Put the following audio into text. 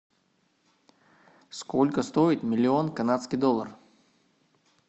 сколько стоит миллион канадский доллар